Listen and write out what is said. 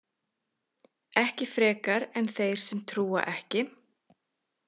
Ekki frekar en þeir sem trúa ekki.